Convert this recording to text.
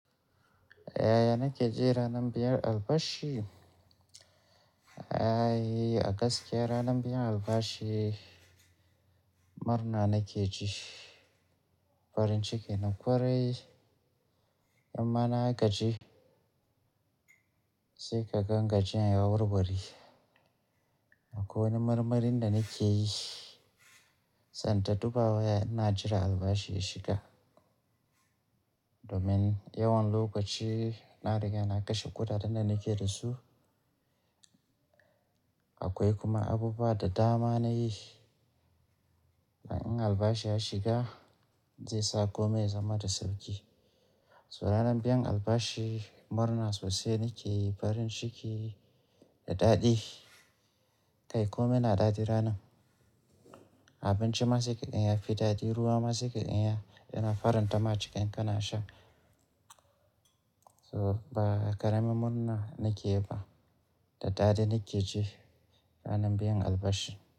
Yaya nake ji ranar biyar albashi? Ai, a gaskiya ranan biyan albashi murna nake ji. Farin ciki na kwarai. In ma na gaji, sai kagan gajiyan ya warware. Akwai wani marmarin da nakeyi, sai inta duba waya ina jira albashi ya shiga. Domin yawan lokaci na riga na kashe kuda den da nake da su. Akwai kuma abubuwa da dama nayi, dan in albashi ya shiga zai sa komai ya zama da sauki. So ranar biyan albashi murna sosai nake yi, farin ciki da daɗi. Kai komai na daɗi ranan. Abinci ma sai kagan ya fi daɗi, ruwa ma sai kagan ya yana faranta ma cikin kana sha. To ba ƙaramin murna nake yi ba, da daɗi nake ji ranar biyan albashi.